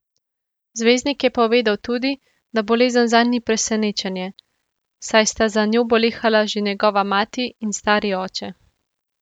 Zvezdnik je povedal tudi, da bolezen zanj ni presenečenje, saj sta za njo bolehala že njegova mati in stari oče.